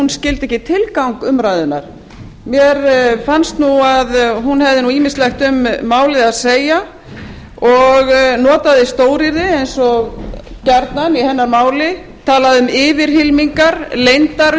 skildi tilgang umræðunnar mér fannst nú að hún hefði ýmislegt um málið að segja og notaði stóryrði eins og gjarnan í hennar máli talaði um yfirhylmingar leyndar